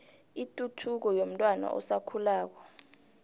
ituthuko yomntwana osakhulako